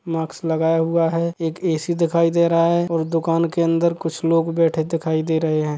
माक्स लगाया हुआ हैंएक एसी दिखाई दे रहा हैं और दुकान के अंदर कुछ लोग बैठे दिखाई दे रहे हैं ।